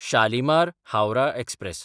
शालिमार (हावराह) एक्सप्रॅस